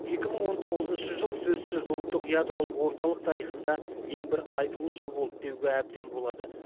екі мың он тоғызыншы жыл сөзсіз ұлттық ядролық орталық тарихында ең бір айтулы жыл болды деуге әбден болады